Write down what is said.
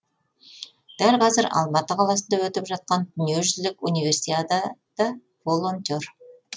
дәл қазір алматы қаласында өтіп жатқан дүниежүзілік универсиада да волонтер